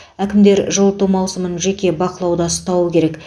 әкімдер жылыту маусымын жеке бақылауда ұстауы керек